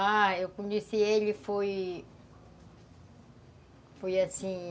Ah, eu conheci ele foi... Foi assim...